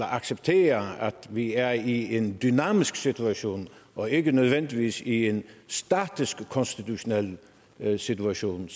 accepterer at vi er i en dynamisk situation og ikke nødvendigvis i en statisk konstitutionel situation